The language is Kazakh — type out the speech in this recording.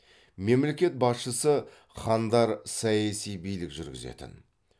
мемлекет басшысы хандар саяси билік жүргізетін